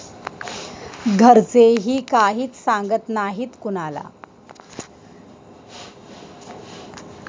घरचेही काहीच सांगत नाहीत कुणाला.